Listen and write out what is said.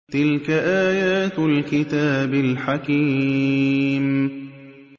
تِلْكَ آيَاتُ الْكِتَابِ الْحَكِيمِ